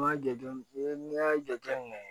N m'a jate n y'a jate minɛ